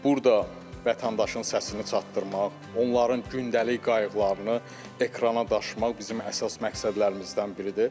Burda vətəndaşın səsini çatdırmaq, onların gündəlik qayğılarını ekrana daşımaq bizim əsas məqsədlərimizdən biridir.